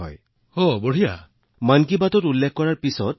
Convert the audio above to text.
আজি আমি বিভিন্ন স্থানৰ পৰা দৈনিক পাঁচ টন আৱৰ্জনা সংগ্ৰহ কৰোঁ